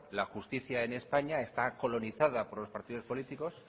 la justicia en españa esta colonizada por los partidos políticos